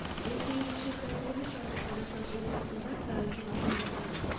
он сегізінші сәуір күні шығыс қазақстан облысында карантин енгізілді